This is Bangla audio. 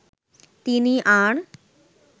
তিনি আর